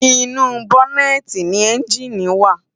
Inú bònètí ni ènjiní wá